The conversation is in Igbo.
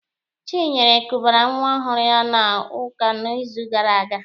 Chinyere kubara nwa ọhụrụ ya n'ụka n'izu gara aga.